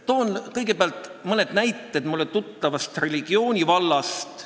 Toon kõigepealt mõne näite mulle tuttavast religioonivallast.